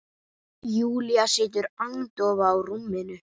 Júlía situr agndofa á rúminu.